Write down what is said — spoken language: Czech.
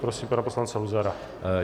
Prosím pana poslance Luzara.